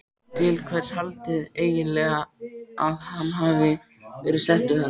Til hvers haldiði eiginlega að hann hafi verið settur þarna?